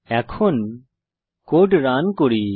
এখন কোড করুন করি